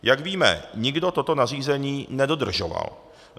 Jak víme, nikdo toto nařízení nedodržoval.